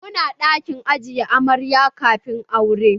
Muna ɗakin ajiye amarya kafin aure